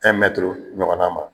ɲɔgɔnna ma